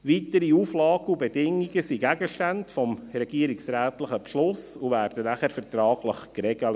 Weitere Auflagen und Bedingungen sind Gegenstand des regierungsrätlichen Beschlusses und werden danach vertraglich geregelt.